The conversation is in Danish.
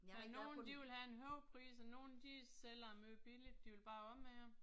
Der er nogen, de vil have en høj pris, og nogen de sælger det meget billigt, de vil bare af med det